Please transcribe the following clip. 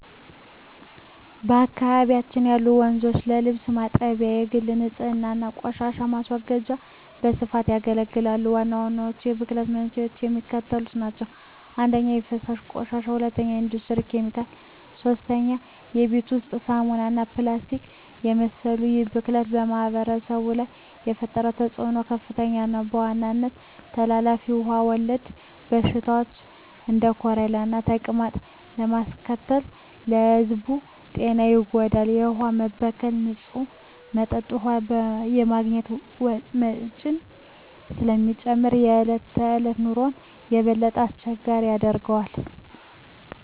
በአካባቢው ያሉ ወንዞች ለልብስ ማጠቢያ፣ ለግል ንፅህና እና ለቆሻሻ ማስወገጃ በስፋት ያገለግላሉ። ዋናዎቹ የብክለት መንስኤዎች የሚከተሉት ናቸው - 1) የፍሳሽ ቆሻሻ 2) የኢንዱስትሪ ኬሚካሎች 3) የቤት ውስጥ ሳሙናዎች እና ፕላስቲክን የመሰሉ ይህ ብክለት በማኅበረሰቡ ላይ የፈጠረው ተፅዕኖ ከፍተኛ ነው፤ በዋናነትም ተላላፊ ውሃ ወለድ በሽታዎችን (እንደ ኮሌራና ተቅማጥ) በማስከተል የሕዝቡን ጤና ይጎዳል። የውሃ መበከል ንፁህ መጠጥ ውሃ የማግኘት ወጪን ስለሚጨምር የዕለት ተዕለት ኑሮን የበለጠ አስቸጋሪ ያደርገዋል።